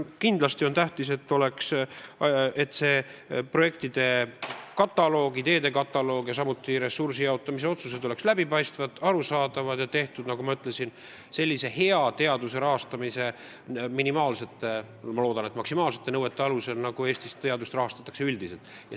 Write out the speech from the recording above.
Kindlasti on tähtis, et projektide ja ideede kataloogid, samuti ressursside jaotamise otsused oleksid läbipaistvad, arusaadavad ja tehtud teaduse rahastamise minimaalsete või õigemini ma loodan, et maksimaalsete nõuete alusel, nagu Eestis teadust üldiselt rahastatakse.